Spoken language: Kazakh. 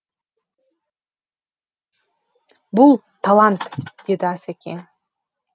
бұл талант деді асекең